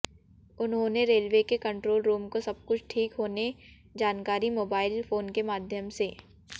उन्होंने रेलवे के control room को सबकुछ ठीक होने जानकारी मोबाइल फोन के माध्यम से